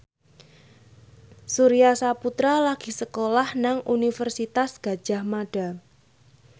Surya Saputra lagi sekolah nang Universitas Gadjah Mada